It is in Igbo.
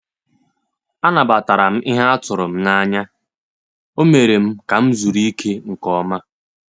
Anabatara m ihe a tụrụ m n’anya, ọ́ mééré m ka m zuru ike nke ọma.